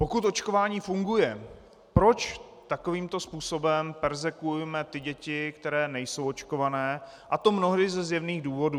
Pokud očkování funguje, proč takovýmto způsobem perzekvujeme ty děti, které nejsou očkované, a to mnohdy ze zjevných důvodů.